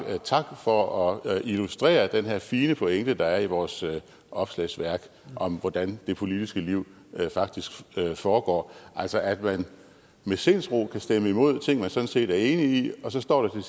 tak for at illustrere den her fine pointe der er i vores opslagsværk om hvordan det politiske liv faktisk foregår altså at man med sindsro kan stemme imod ting man sådan set er enig i og så står der